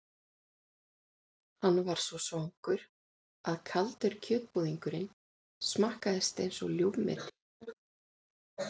Hann var orðinn svo svangur að kaldur kjötbúðingurinn smakkaðist einsog ljúfmeti.